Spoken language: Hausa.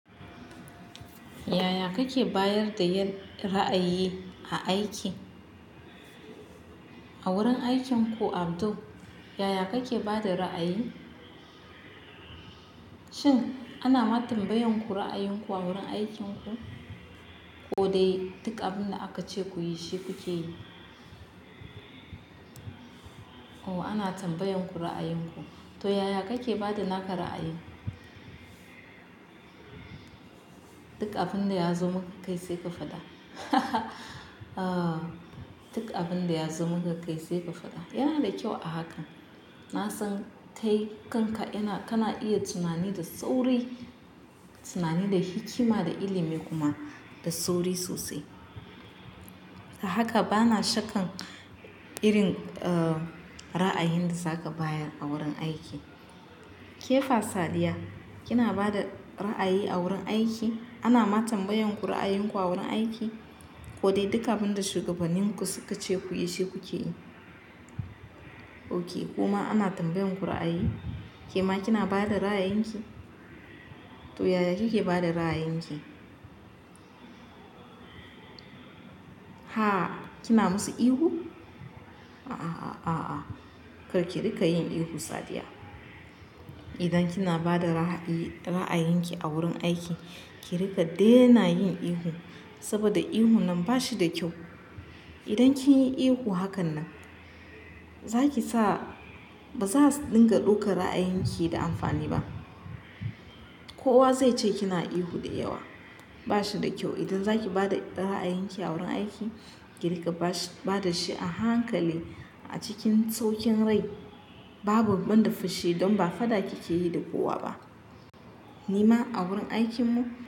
Yaya kake bayar da yin ra'ayi a aiki? A wurin aikinku, Abdul yaya kake ba da ra'ayi? Shin ana ma tambayanku ra'ayinku a wurin aikinku? Ko dai duk abin da aka ce ku yi shi ku ke yi? O ana tambayanku ra'ayinku, to yaya kake ba da naka ra'ayin? Duk abin da ya zo maka kai sai ka faɗa ee duk abin da ya zo maka kai sai ka faɗa. Yana da kyau a haka. Na san kai kanka yana-- kana iya tunani da sauri, tunani da hikima da ilimi kuma da sori sosai. A haka bana shakkan irin ee ra'ayin da zaka bayar a wurin aiki. Ke fa Sadiya kina bada ra'ayi a wurin aiki? Ana ma tambayanku ra'ayinku a wurin aiki? Ko dai duk abin da shugabannin ku suka ce ku yi shi ku ke yi? Ok kuma ana tambayanku ra'ayi? Ke ma kina bada ra'ayinki? To yaya kike bada ra'ayinki? Ha kina musu ihu? A a a a kar ki rika yin ihu Sadiya. Idan kina bada ra'ayi-- ra'ayinki a wurin aiki ki rika dena yin ihu saboda ihun nan ba shi da kyau. Idan kin yi ihu hakan nan za ki sa ba za su dinga ɗokan ra'ayinki da amfani ba. Kowa zai ce kina ihu da yawa. Ba shi da kyau. Idan za ki bada ra'ayinki a wurin aiki ki rika ba shi-- bada shi a hankali a cikin saukin rai. Babu ban da fushi don ba faɗa kike yi da kowa ba. Ni ma a wurin aikin mu.